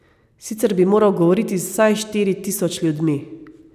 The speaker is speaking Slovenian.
Sicer bi moral govoriti z vsaj štiri tisoč ljudmi.